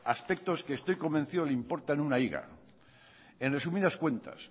aspectos que estoy convencido le importan una higa en resumidas cuentas